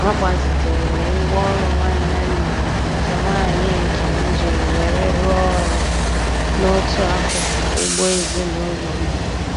Agbazitere m ngwaọrụ nwanne nna m nke nwaanyị nke m ji were rụọ ọrụ n'otu akụkụ ugbo ezinụlọ m.